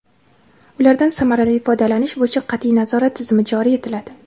ulardan samarali foydalanish bo‘yicha qatʼiy nazorat tizimi joriy etiladi.